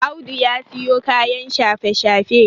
Audu ya siyo kayan shafe-shafe